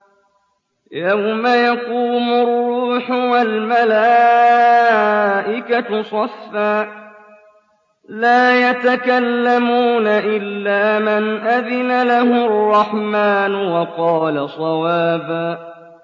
يَوْمَ يَقُومُ الرُّوحُ وَالْمَلَائِكَةُ صَفًّا ۖ لَّا يَتَكَلَّمُونَ إِلَّا مَنْ أَذِنَ لَهُ الرَّحْمَٰنُ وَقَالَ صَوَابًا